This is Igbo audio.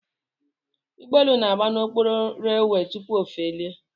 Ụgbọelu na-agba n'okporo runway tupu o felie